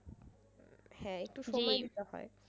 হ্যাঁ একটু সময় দিতে হয়।